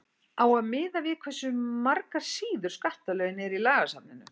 á að miða við hversu margar síður skattalögin eru í lagasafninu